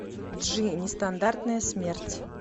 джи нестандартная смерть